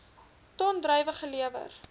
ton druiwe gelewer